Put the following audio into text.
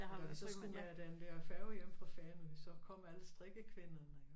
Og da vi så skulle med den der færge hjem fra Fanø så kom alle strikkekvinderne